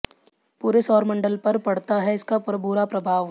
पूरे सौर मंडल पर पड़ता है इसका बुरा प्रभाव